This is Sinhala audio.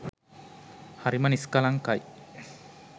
හරිම නිස්කලංකයි.